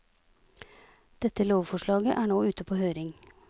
Dette lovforslaget er nå ute på høring.